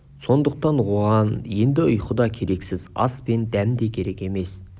сондықтан оған енді ұйқы да керексіз ас пен дәм де керек емес